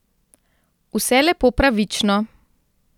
Vse lepo pravično.